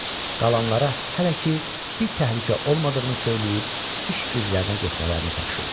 Qalanlara hələ ki bir təhlükə olmadığını söyləyib iş güclərinə getmələrini tapşırdı.